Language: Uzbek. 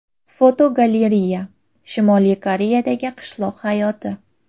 Fotogalereya: Shimoliy Koreyadagi qishloq hayoti.